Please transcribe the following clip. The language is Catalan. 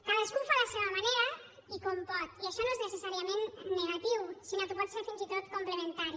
cadascú ho fa a la seva manera i com pot i això no és necessàriament negatiu sinó que pot ser fins i tot complementari